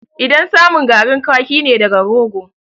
Idan samun garin kwaki ne daga rogo